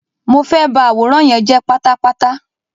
Mo fe ba àwòrán yen je pátápátá.